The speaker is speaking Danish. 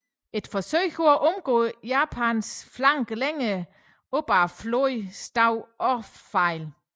Et forsøg på at omgå japanernes flanke længere op ad floden slog også fejl